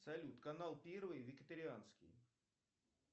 салют канал первый вегетарианский